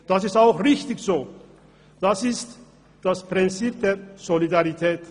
Dies ist auch richtig so, es ist das Prinzip der Solidarität.